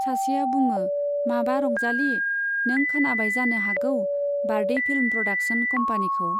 सासेआ बुङो माबा रंजाली, नों खोनाबाय जानो हागौ, बारदै फिल्म प्रडाक्सन कम्पानीखौ।